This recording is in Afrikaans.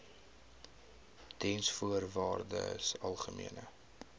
diensvoorwaardesalgemene